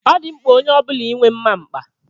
Ọ dị mkpa onye ọbula inwe mma mkpa.